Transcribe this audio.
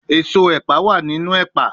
Eso epa wa ninu epa